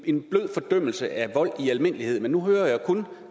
en blød fordømmelse af vold i almindelighed men nu hører jeg kun